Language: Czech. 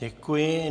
Děkuji.